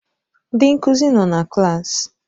Ndị nkuzi nọ na klaasị.